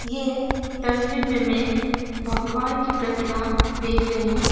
ये तस्वीर में मैं भगवान की प्रतिमा देख रही हु।